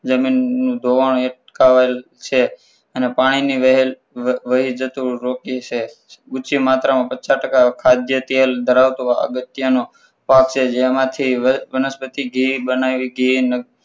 જમીન ધોવાણ અટકાવેલ છે અને પાણીની વહેણ વહી જતું રોકી છે. ઉંચી માત્રામાં પચાસ ટકા ખાદ્ય તેલ ધરાવતું અગત્યનું પાક છે જે જેમાંથી વનસ્પતિ ઘી બનાવી ઘી